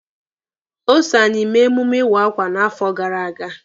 O so anyị mee emume iwa akwa n'afọ gara aga.